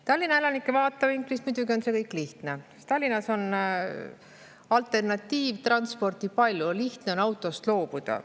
Tallinna elanike vaatevinklist muidugi on see kõik lihtne, sest Tallinnas on alternatiivtransporti palju, lihtne on autost loobuda.